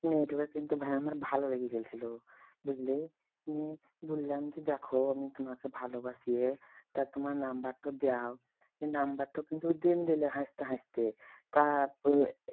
মেয়েটাকেকিন্তু ভাই আমার ভালো লেগেগেছিল বুঝলে নিয়ে বললাম যে দেখো আমি তোমাকে ভালোবাসিইয়ে টা তোমার number দাও নিয়ে number কিন্তু দিন দিলে হাসতে হাসতে তারপরে